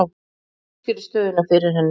Ég útskýrði stöðuna fyrir henni.